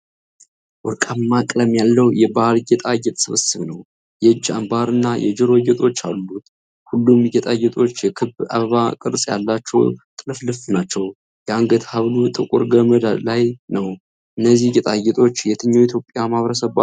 ወርቃማ ቀለም ያለው የባህል ጌጣጌጥ ስብስብ ነው። የእጅ አንባር እና የጆሮ ጌጦች አሉት። ሁሉም ጌጣጌጦች የክብ አበባ ቅርጽ ያላቸው ጥልፍልፍ ናቸው፤ የአንገት ሐብሉ ጥቁር ገመድ ላይ ነው። እነዚህ ጌጣጌጦች የትኛው የኢትዮጵያ ማኅበረሰብ ባህል ናቸው?